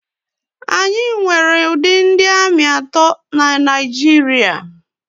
Anyị nwere ụdị ndị ami atọ na Naịjirịa.